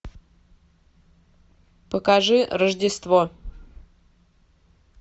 покажи рождество